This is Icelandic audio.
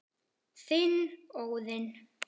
Þinn, Óðinn.